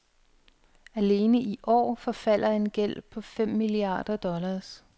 Alene i år forfalder en gæld på fem milliarder dollars.